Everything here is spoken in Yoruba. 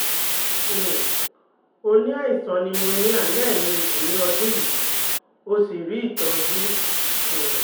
um ó ní aisan pneumonia lẹ̀ẹ́méjì ní ọdún yìí ó sì rí ìtọ́jú um